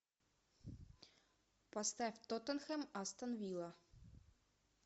поставь тоттенхэм астон вилла